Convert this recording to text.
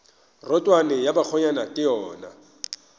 rotwane ya bakgonyana ke yona